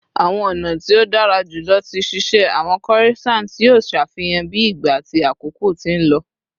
Awọn ọna ti o dara julọ ti ṣiṣe awọn corissants yoo ṣafihan bi ìgba ati àkókò ti n lọ